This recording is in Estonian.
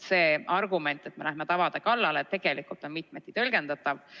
See argument, et me lähme tavade kallale, on tegelikult mitmeti tõlgendatav.